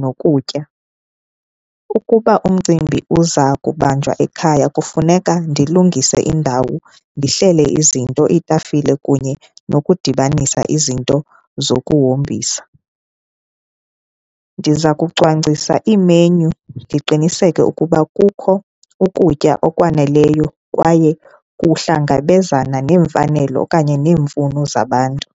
nokutya. Ukuba umcimbi uza kubanjwa ekhaya kufuneka ndilungise indawo, ndihlele izinto iitafile kunye nokudibanisa izinto zokuhombisa. Ndiza kucwangcisa iimenyu ndiqiniseke ukuba kukho ukutya okwaneleyo kwaye kuhlangabezana neemfanelo okanye neemfuno zabantu.